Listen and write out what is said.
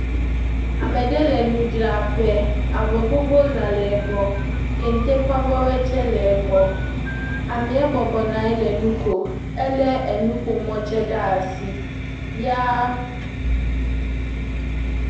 Ame aɖe le nu dzra ƒe. Avɔ gbogbo zã le egbɔ. Kente ƒe avɔ woe tse le egbɔ. Amea bɔbɔ nɔ nu kom. Ele nuƒo mɔ tse asi.